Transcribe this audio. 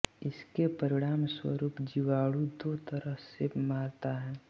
इसके परिणामस्वरूप जीवाणु दो तरह से मरता है